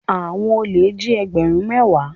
Àwọn olè jí egberun mẹ́wàá.